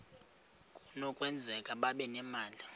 kunokwenzeka babe nemali